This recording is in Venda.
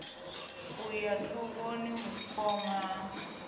u ya dovhoni vhukoma ho